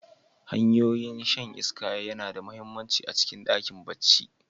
Hanyoyin shan iska yana da mahimmanci a cikin ɗakin barci.